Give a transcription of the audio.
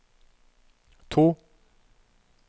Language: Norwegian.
to